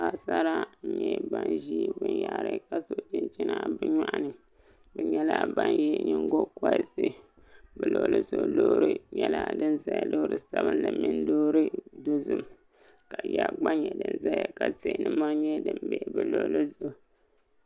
Paɣasara n nyɛ ban ʒi binyahari ka so chinchina bi nyoɣani bi nyɛla ban yɛ nyingokoriti bi luɣuli zuɣuloori nyɛla din ʒɛya loori sabinli mini loori dozim ka yiya gba nyɛ din ʒɛya ka tihi ni mori ʒɛ bi luɣuli zuɣu